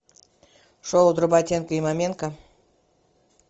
шоу дроботенко и маменко